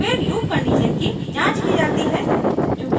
फिर loop condition की जांच की जाती है